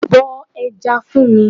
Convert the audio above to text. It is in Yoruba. Bọ ẹja fún mi.